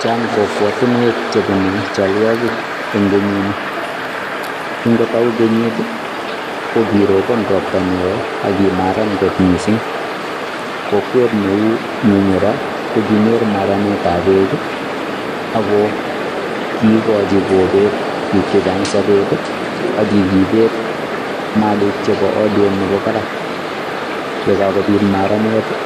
Chaang kokwatiinweek che bunei chalwaagik en kenyiin ni kiin ko Tau kenyiit ii ko korobaan roptaa ne wooh agimaraan kot missing kokwet neu minyiraa konyoor maraneet ab beek ii ako kigochi kobeet biik chechaang sabet ii ak kikombeet Malik chebo aliet nebo barak, ye kakobiit maraneet ii